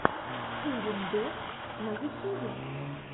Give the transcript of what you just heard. ирин дом на ютьюбе